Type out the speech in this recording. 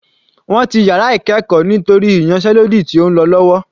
Wọ́n ti yàrá ìkẹ́ẹ̀kọ́ nítorí ìyánsẹ́lódì tí ó ń lọ lọ́wọ́.